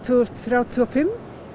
þúsund þrjátíu og fimm